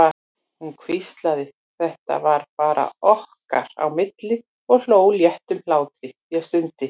Hún hvíslaði, þetta var bara okkar á milli, og hló léttum hlátri, ég stundi.